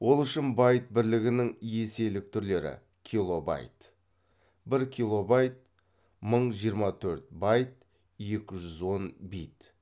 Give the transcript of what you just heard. ол үшін байт бірлігінің еселік түрлері килобайт бір килобайт мың жиырма төрт байт екі жүз он бит